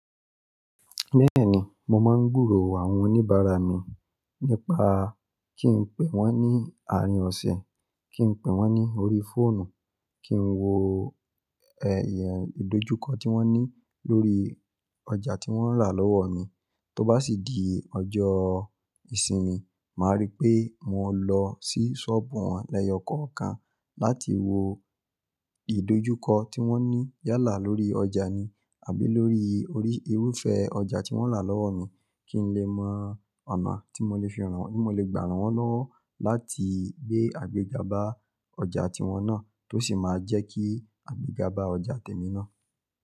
Bẹ́ẹ̀ni, mo máa ń gbúrò àwọn oníbàárà mi nípa kí n pè wọ́n ní àárín ọ̀sẹ̀, kí n pè wọ́n ní orí fóònù, kí n wo, ẹ́yin ìdojúkọ tí wọ́n ní lórí ọjà tí wọ́n rà lọ́wọ́ mi. Tó bá sì di ọjọ́ ìsinmi, màá rí pé mo lọ sí ṣọ́ọ̀bù wọn lẹ́yọkọ̀ọ̀kan láti wo ìdojúkọ tí wọ́n ní yálà lórí ọjà ni, àbí lórí orí irúfẹ́ ọjà tí wọ́n rà lọ́wọ́ mi kí n lè mọ ọ̀nà tí mo lè fi ràn wọ́n, tí mo lè gbà ràn wọ́n lọ́wọ́ láti gbé àgbé jabá ọjà tí wọ́n náà, tó sì máa jẹ́ kí àgbé jabá ọjà tèmi náà.